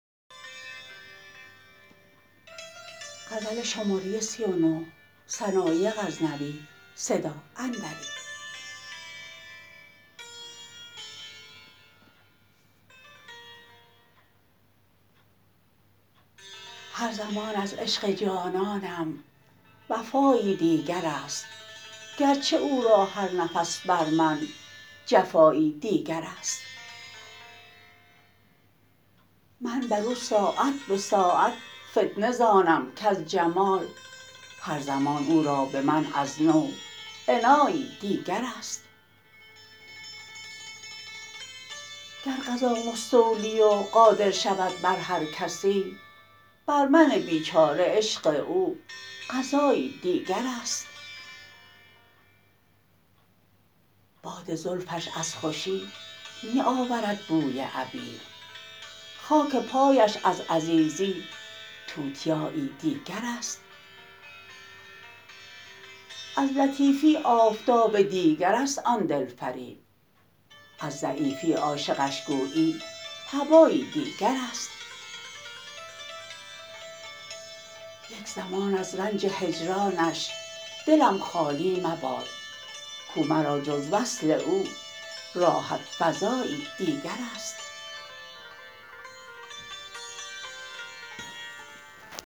هر زمان از عشق جانانم وفایی دیگرست گرچه او را هر نفس بر من جفایی دیگرست من بر او ساعت به ساعت فتنه زانم کز جمال هر زمان او را به من از نو عنایی دیگرست گر قضا مستولی و قادر شود بر هر کسی بر من بیچاره عشق او قضایی دیگرست باد زلفش از خوشی می آورد بوی عبیر خاک پایش از عزیزی توتیایی دیگرست از لطیفی آفتاب دیگرست آن دلفریب از ضعیفی عاشقش گویی هبایی دیگرست یک زمان از رنج هجرانش دلم خالی مباد کو مرا جز وصل او راحت فزایی دیگرست